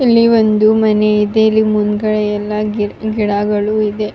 ಇಲ್ಲಿ ಒಂದು ಮನೆ ಇದೆ ಇಲ್ಲಿ ಮುಂದ್ಗಡೆ ಎಲ್ಲ ಗಿಡ್ ಗಿಡಾ ಗಳೂ ಇದೆ.